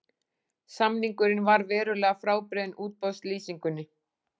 Samningurinn var verulega frábrugðinn útboðslýsingunni